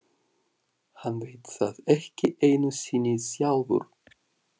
Hann veit það ekki einu sinni sjálfur.